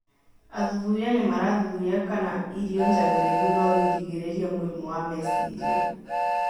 Athuthuria nĩmarathuthuria kana irio njagĩrĩru noigirĩrĩrie mũrimũ wa meciria